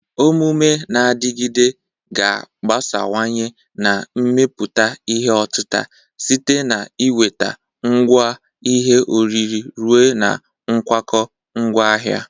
Omume na-adịgide ga-agbasawanye na mmepụta ihe otita, site na ị nweta ngwa ihe oriri ruo na nkwakọ ngwaahịa.